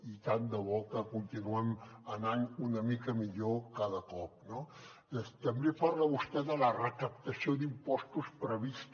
i tant de bo que continuem anant una mica millor cada cop no també parla vostè de la recaptació d’impostos prevista